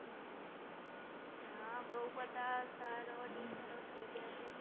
હા બઉ બધા સરો, હમ ટીચરો થઈ ગયા છે